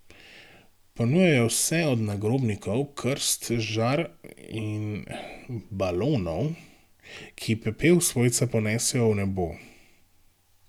Ponujajo vse od nagrobnikov, krst, žar in balonov, ki pepel svojca ponesejo v nebo.